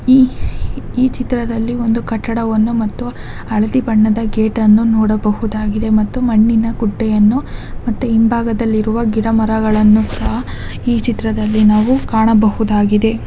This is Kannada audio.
ಈ ಈ ಚಿತ್ರದಲ್ಲಿ ಒಂದು ಕಟ್ಟಡವನ್ನು ಮತ್ತು ಹಳದಿ ಬಣ್ಣದ ಗೇಟನ್ನು ನೋಡ ಬಹುದಾಗಿದೆ ಮತ್ತು ಮಣ್ಣಿನ ಗುಡ್ಡೆಯನ್ನು ಮತ್ತು ಹಿಂಭಾಗದಲ್ಲಿ ಗಿಡ ಮರಗಳ್ಳನು ಸಹ ಈ ಚಿತ್ರದಲ್ಲಿ ನಾವು ಕಾನಾಬಹುದಾಗಿದೆ .